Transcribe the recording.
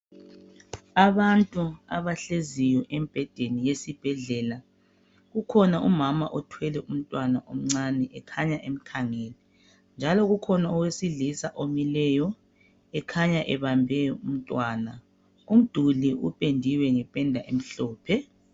Abantu abahleziyo embhedeni yesibhedlela. Kukhona umama othwele umntwana umncane ekhanya emkhangele. Njalo ukhona owesilisa omileyo ekhanya ebambe umntwana. Umduli uphendiwe ngephenda emhlophe.